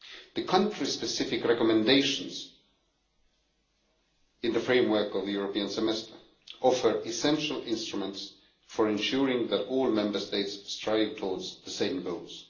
The country specific recommendations in the framework of the European Semester offer essential instruments for ensuring that all Member States strive towards the same goals.